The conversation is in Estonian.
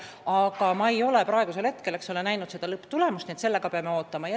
Aga ma ei ole lõpptulemust veel näinud, nii et sellega peame ootama.